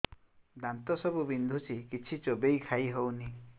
ଦାନ୍ତ ସବୁ ବିନ୍ଧୁଛି କିଛି ଚୋବେଇ ଖାଇ ହଉନି